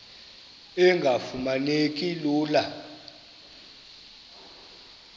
engafuma neki lula